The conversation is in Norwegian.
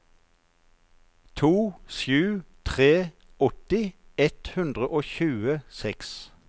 to sju to tre åtti ett hundre og tjueseks